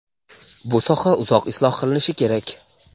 bu soha uzoq isloh qilinishi kerak.